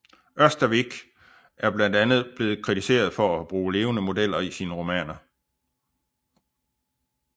Ørstavik er blandt andet blevet kritiseret for at bruge levende modeller i sine romaner